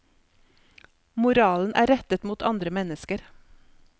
Moralen er rettet mot andre mennesker.